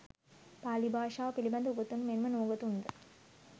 පාලි භාෂාව පිළිබඳ උගතුන් මෙන් ම නූගතුන් ද